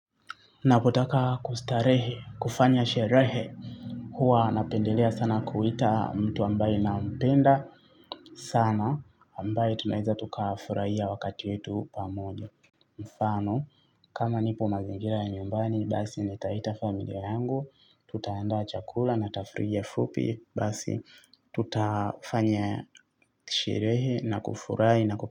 Napotaka kustarehe, kufanya sherehe. Huwa napendelea sana kuita mtu ambaye na mpenda sana ambaye tunaeweza tukafurahia wakati wetu pamoja. Mfano, kama nipo mazingira ya nyumbani, basi ni taita familia yangu, tutaanda chakula na tafrija fupi, basi tutafanya sherehe na kufurahi na.